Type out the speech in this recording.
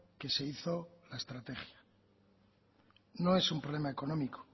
que se hizo la estrategia no es un problema económico